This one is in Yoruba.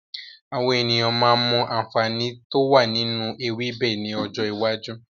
Àwọn ènìyàn máa mọ àǹfààní to wá nínú ewébẹ̀ ni ọjọ́ iwájú.